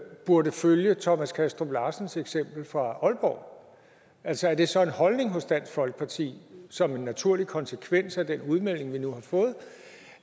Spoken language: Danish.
burde følge thomas kastrup larsens eksempel fra aalborg altså er det så en holdning hos dansk folkeparti som en naturlig konsekvens af den udmelding vi nu har fået